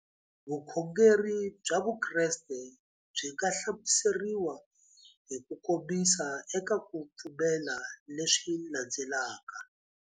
Vukhongeri bya Vukreste byi nga hlamuseriwa hi kukomisa eka ku pfumela leswi landzelaka.